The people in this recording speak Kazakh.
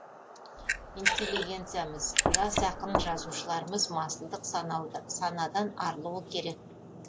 интеллигенциямыз жас ақын жазушыларымыз масылдық санадан арылуы керек